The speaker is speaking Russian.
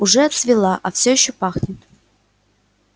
уже отцвела а всё ещё пахнет